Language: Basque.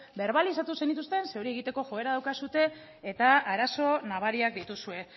berbalizatu zenituzten zeren hori egiteko joera daukazue eta arazo nabariak dituzue